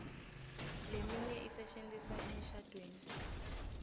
leminye isetjentiswa emishadvweni